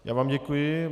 Já vám děkuji.